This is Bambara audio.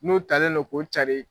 N'o talen don k'o cari.